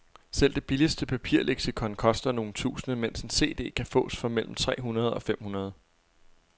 Selv det billigste papirleksikon koster nogle tusinde, mens en cd kan fås for mellem tre hundrede og fem hundrede.